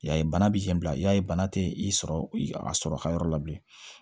Y'a ye bana biɲɛ bila i y'a ye bana tɛ i sɔrɔ a sɔrɔ a ka yɔrɔ la bilen